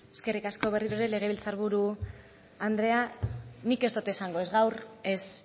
eskerrik asko berriro ere legebiltzar buru andrea nik ez dut esango ez gaur ez